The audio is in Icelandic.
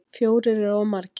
Fjórir eru of margir.